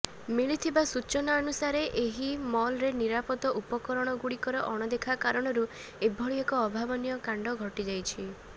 ମିଳିଥିବା ସୂଚନା ଅନୁସାରେ ଏହି ମଲ୍ରେ ନିରାପଦ ଉପକରଣଗୁଡିକର ଅଣଦେଖା କାରଣରୁ ଏଭଳି ଏକ ଅଭାବନୀୟ କାଣ୍ଡ ଘଟିଯାଇଛି